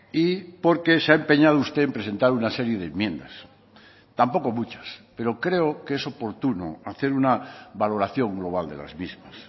y porque se ha empeñado usted en presentar una serie de enmiendas tampoco muchas pero creo que es oportuno hacer una valoración global de las mismas